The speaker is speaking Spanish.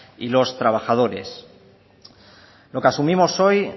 y los trabajadores lo que asumimos hoy